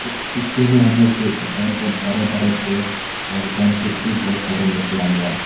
इस पिक्चर में हम लोग देख सकता हैं बहोत बरे बरे पेड़ और ब्रांचेस भी बहोत सारे निकला हुआ है।